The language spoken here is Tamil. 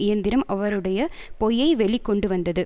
இயந்திரம் அவருடைய பொய்யை வெளி கொண்டுவந்தது